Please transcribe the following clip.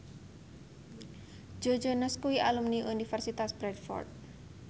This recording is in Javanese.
Joe Jonas kuwi alumni Universitas Bradford